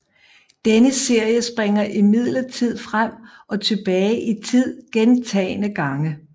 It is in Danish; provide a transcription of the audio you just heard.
Denne serie springer imidlertid frem og tilbage i tid gentagne gange